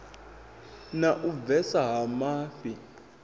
na u bvesa ha mafhi